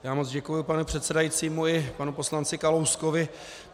Já moc děkuji panu předsedajícímu i panu poslanci Kalouskovi.